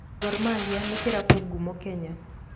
Gormahia nĩ kĩrabu ngumo Kenya.